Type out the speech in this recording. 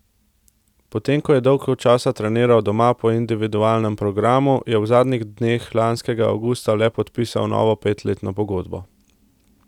Potem ko je dolgo časa treniral doma po individualnem programu, je v zadnjih dneh lanskega avgusta le podpisal novo petletno pogodbo.